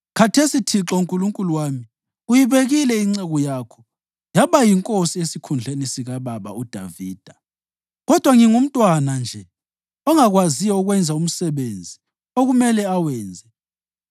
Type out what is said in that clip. Khathesi, Thixo Nkulunkulu wami, uyibekile inceku yakho yaba yinkosi esikhundleni sikababa uDavida. Kodwa ngingumntwana nje ongakwaziyo ukwenza umsebenzi okumele awenze.